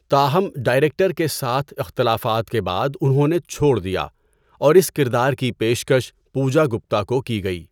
تاہم، ڈائریکٹر کے ساتھ اختلافات کے بعد انہوں نے چھوڑ دیا اور اس کردار کی پیشکش پوجا گپتا کو کی گئی۔